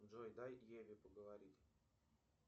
джой дай еве поговорить